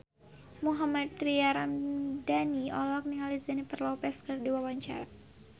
Mohammad Tria Ramadhani olohok ningali Jennifer Lopez keur diwawancara